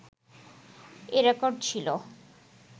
এ record ছিলো